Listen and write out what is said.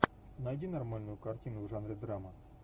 найди нормальную картину в жанре драма